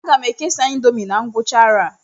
Aga m ekesa índomi na ngwụcha arọ a